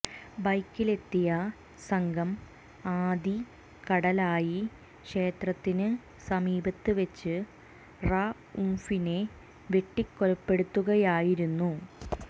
ബൈക്കിലെത്തിയ സംഘം ആദികടലായി ക്ഷേത്രത്തിന് സമീപത്ത് വെച്ച് റഊഫിനെ വെട്ടി കൊലപ്പെടുത്തുകയായിരുന്നു